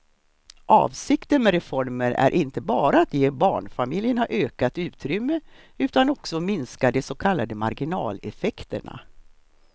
Avsikten med reformen är inte bara att ge barnfamiljerna ökat utrymme utan också minska de så kallade marginaleffekterna.